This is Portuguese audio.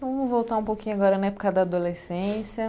Vamos voltar um pouquinho agora na época da adolescência.